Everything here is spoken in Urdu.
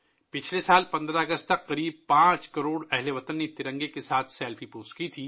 پچھلے سال 15 اگست تک تقریباً 5 کروڑ ہم وطنوں نے ترنگے کے ساتھ سیلفی پوسٹ کی تھی